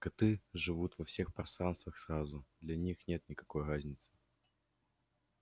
коты живут во всех пространствах сразу для них нет никакой разницы